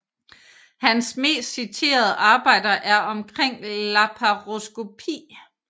Hans mest citerede arbejder er omkring laparoskopi